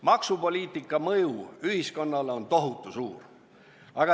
Maksupoliitika mõju ühiskonnale on tohutu suur.